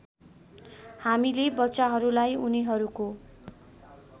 हामीले बच्चाहरूलाई उनीहरूको